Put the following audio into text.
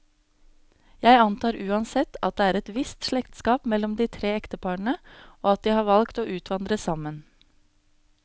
Jeg antar uansett, at det er et visst slektskap mellom de tre ekteparene, og at de har valgt å utvandre sammen.